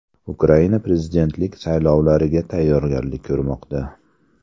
Ukraina prezidentlik saylovlariga tayyorgarlik ko‘rmoqda.